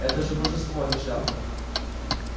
это же божество а не шляпка